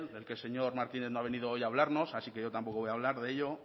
del que señor martínez no ha venido hoy a hablarnos así que yo tampoco voy a hablar de ello